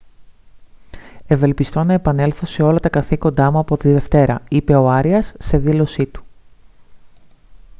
«ευελπιστώ να επανέλθω σε όλα τα καθήκοντά μου από τη δευτέρα» είπε ο άριας σε δήλωσή του